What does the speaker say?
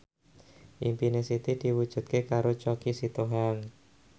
impine Siti diwujudke karo Choky Sitohang